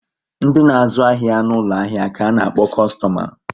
Ndi na-azu ahia n'ulo ahia ka a na-akpo kostoma